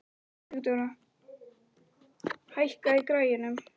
Sigurdóra, hækkaðu í græjunum.